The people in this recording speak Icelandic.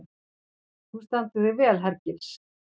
Þú stendur þig vel, Hergils!